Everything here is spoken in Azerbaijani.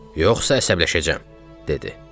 Yoxsa əsəbləşəcəm!" dedi.